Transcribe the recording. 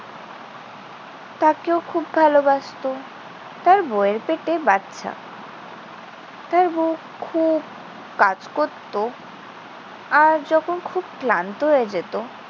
তাকেও খুব ভালোবাসতো। তার বউ এর পেটে বাচ্চা। তার বউ খুব কাজ করত। আর যখন খুব ক্লান্ত হয়ে যেত